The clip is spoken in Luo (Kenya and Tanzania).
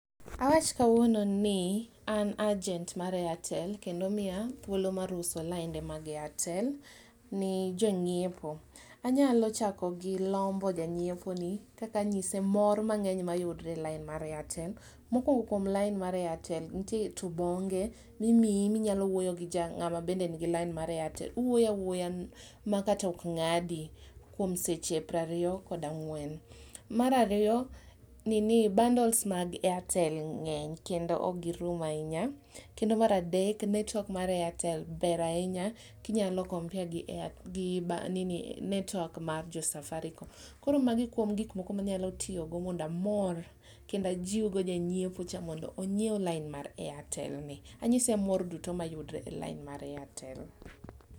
Awach kawuono ni an agent mar Airtel kendoomiya thuolo mar uso lainde mag Airtel ne jonyiepo, anyalo chako gi lombo janyiepo ni kaka anyise mor mangeny mayudre e lain mar Airtel. Mokupngo kuom lain mar Airtel nitiere tubonge mimiyi minyalo wuoyo gi ja, ngama nigi lain mar Airtel ,uwuoyo awuoya makata ok ngadi kuom seche prariyo kod ang'wen. Mar ariyo, nini, bundles mag Airtel ngeny kendo ok girum ahinya kendo mar adek network mar Airtel ber ahinya kinyalo compare gi network mar jo Safaricom. Koro magi kuom gik moko mondo amor kendo ajiw go janyiepo cha mondo onyiew lain mar Airtel ni, anyise mor duto mayudore e lain mar Airtel.